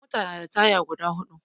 Mota na da taya guda huɗu